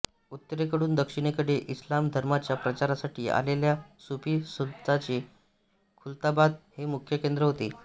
उत्तरेकडून दक्षिणेकडे इस्लाम धर्माच्या प्रचारासाठी आलेल्या सुफी संतांचे खुलताबाद हे मुख्यकेंद्र होते